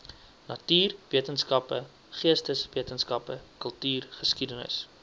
natuurwetenskappe geesteswetenskappe kultuurgeskiedenis